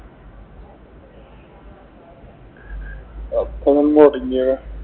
എപ്പളാ മുറിഞ്ഞത്.